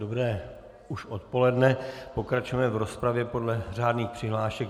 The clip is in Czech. Dobré už odpoledne, pokračujeme v rozpravě podle řádných přihlášek.